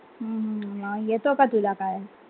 हम्म म येतं का तुला काय?